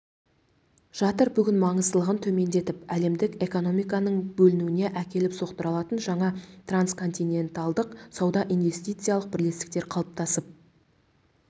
жатыр бүгін маңыздылығын төмендетіп әлемдік экономиканың бөлінуіне әкеліп соқтыра алатын жаңа трансконтиненталдық сауда-инвестициялық бірлестіктер қалыптасып